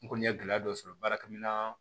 N kɔni ye gɛlɛya dɔ sɔrɔ baarakɛminɛn